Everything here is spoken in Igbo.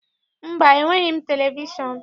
Mba, enweghị m televishọn.